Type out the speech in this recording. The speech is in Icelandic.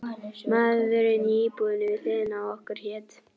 Maðurinn í íbúðinni við hliðina á okkur hét